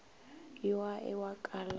yo a e wa kalana